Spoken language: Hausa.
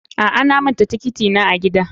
A'a, na manta tiketi na a gida.